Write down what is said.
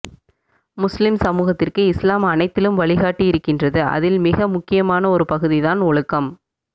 முஸ்லிம் சமூகத்திற்கு இஸ்லாம் அனைத்திலும் வழிகாட்டி இருக்கின்றது அதில் மிக முக்கியமான ஒரு பகுதி தான் ஒழுக்கம்